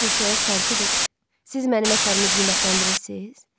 Basil soyuq tərzdə dedi: Siz mənim əsərimi qiymətləndirirsiz?